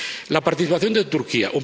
La participación de Turquía.